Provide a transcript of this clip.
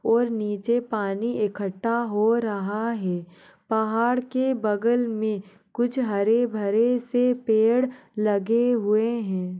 और नीचे पानी इकट्ठा हो रहा है पहाड़ के बगल मे कुछ हरे भरे से पेड़ लगे हुए है।